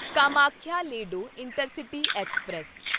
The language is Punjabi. Kamakhya Ledo intercity express